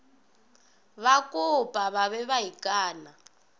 bakopa ba be ba ikana